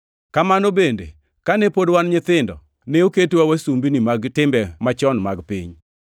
Kamano bende kane pod wan nyithindo, ne oketwa wasumbini mag timbe machon mag piny.